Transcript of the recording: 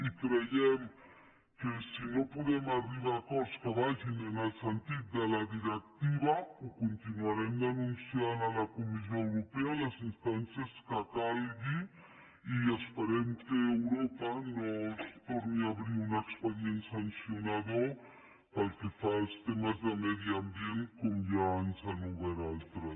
i creiem que si no podem arribar a acords que vagin en el sentit de la directiva ho continuarem denunciant a la comissió europea a les instàncies que calgui i esperem que europa no ens torni a obrir un expedient sancionador pel que fa als temes de medi ambient com ja ens n’han obert altres